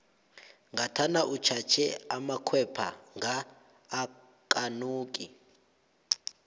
ngathana utjhatjhe amakhwapha nga akanuki